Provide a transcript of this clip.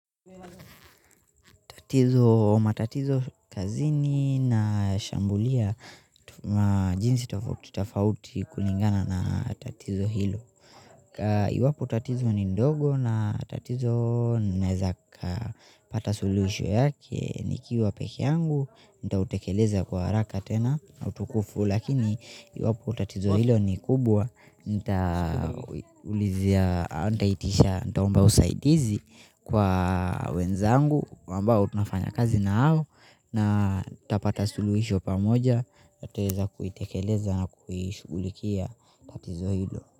Hizo matatizo kazini na shambulia na jinsi tofauti tofauti kulingana na tatizo hilo. Iwapo tatizo ni ndogo na tatizo naeza kapata solution yake. Nikiwa peke yangu, nitautekeleza kwa haraka tena na utukufu. Lakini iwapo tatizo hilo ni kubwa nitaulizia, nitahitisha, nitaomba usaidizi kwa wenzangu kwa ambao tunafanya kazi nao na tapata suluisho pamoja natutaeza kuitekeleza na kuishugulikia tatizo ile.